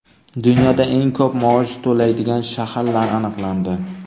Dunyoda eng ko‘p maosh to‘laydigan shaharlar aniqlandi.